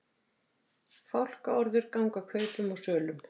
Fálkaorður ganga kaupum og sölum